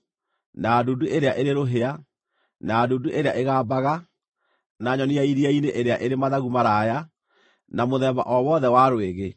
na ndundu ĩrĩa ĩrĩ rũhĩa, na ndundu ĩrĩa ĩgambaga, na nyoni ya iria-inĩ ĩrĩa ĩrĩ mathagu maraaya, na mũthemba o wothe wa rwĩgĩ,